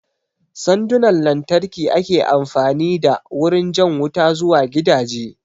Sandunan lantarki ake amfani da wurin jan wuta zuwa gidaje